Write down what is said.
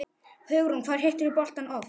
Hugrún: Hvað hittirðu boltann oft?